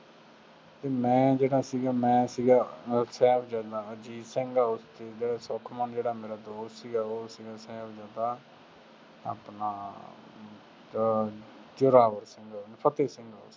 ਅਤੇ ਮੈਂ ਜਿਹੜਾ ਸੀਗਾ, ਮੈਂ ਸੀਗਾਅਹ ਸਾਹਿਬਜ਼ਾਦਾ ਅਜੀਤ ਸਿੰਘ ਸੁਖਮਨ ਜਿਹੜਾ ਮੇਰਾ ਦੋਸਤ ਸੀਗਾ ਉਹ । ਆਪਣਾ ਜ਼ ਜ਼ੋਰਾਵਰ ਸਿੰਘ ਫਤਹਿ ਸਿੰਘ